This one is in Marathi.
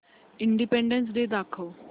इंडिपेंडन्स डे दाखव